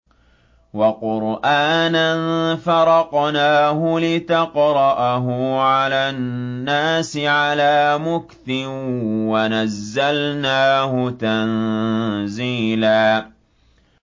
وَقُرْآنًا فَرَقْنَاهُ لِتَقْرَأَهُ عَلَى النَّاسِ عَلَىٰ مُكْثٍ وَنَزَّلْنَاهُ تَنزِيلًا